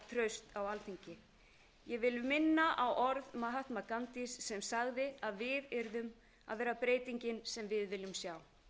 traust á alþingi ég vil minna á orð ghandis sem sagði að við yrðum að vera breytingin sem við viljum sjá